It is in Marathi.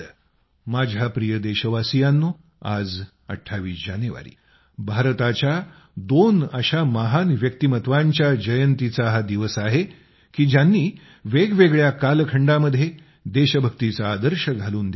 माझ्या प्रिय देशवासियांनो आज 28 जानेवारी भारताच्या दोन अशा महान व्यक्तित्वांच्या जयंतीचा हा दिवस आहे की ज्यांनी वेगवेगळ्या कालखंडामध्ये देशभक्तीचा आदर्श घालून दिला आहे